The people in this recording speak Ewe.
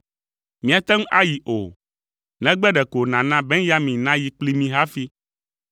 Míate ŋu ayi o, negbe ɖeko nàna Benyamin nayi kpli mí hafi.’ ”